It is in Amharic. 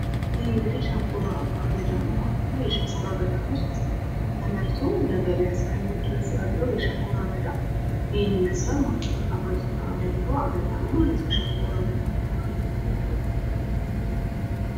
ይህ እንግዲህ ሸንኮራ አገዳ ነው። የሸንኮራ አገዳ ምርት ተመርቶ ለገቢያ እስከሚዉል ድረስ ያለው ሸንኮራ አገዳ ይህን ይመስላል ማለት ነው። ጣፋጭ ጣእም ያለው አገዳ ነው ማለት ነው ሸንኮራ አገዳ።